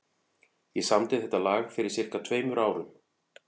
Ég samdi þetta lag fyrir sirka tveimur árum.